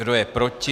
Kdo je proti?